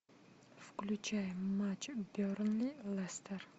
включай матч бернли лестер